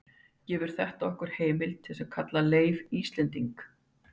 gefur þetta okkur heimild til að kalla leif íslending